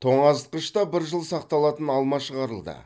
тоңазытқышта бір жыл сақталатын алма шығарылды